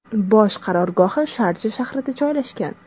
Bosh qarorgohi Sharja shahrida joylashgan.